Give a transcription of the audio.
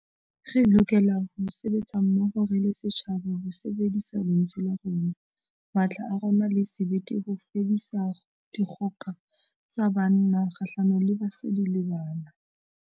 Re lokela ho sebetsa mmoho re le setjhaba ho sebedisa lentswe la rona, matla a rona le sebete ho fedisa dikgoka tsa banna kgahlano le basadi le bana.